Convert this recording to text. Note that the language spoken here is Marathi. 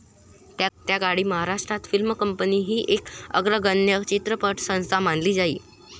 त्याकाळी महाराष्ट्र फिल्म कंपनी ही एक अग्रगण्य चित्रपटसंस्था मानली जाई.